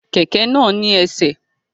Kẹkẹ náà ni ẹsẹ̀.